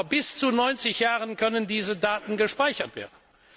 Aber bis zu 90 Jahren können diese Daten gespeichert werden!